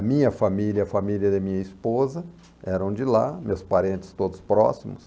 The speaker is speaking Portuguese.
A minha família e a família da minha esposa eram de lá, meus parentes todos próximos.